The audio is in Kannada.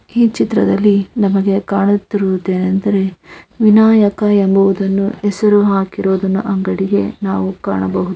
ಈ ಚಿತ್ರದಲ್ಲಿ ನಮಗೆ ಕಾಣುತಿರುವುದು ಏನ್ ಎಂದರೆ ವಿನಾಯಕ ಎಂಬುವುದನ್ನು ಹೆಸರು ಹಾಕಿರುವುದನ್ನು ಅಂಗಡಿಗೆ ನಾವು ಕಾಣಬಹುದು --